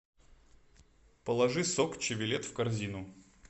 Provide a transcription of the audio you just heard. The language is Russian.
положи сок чевелет в корзину